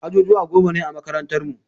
Ajujuwa goma ne a makarantar mu.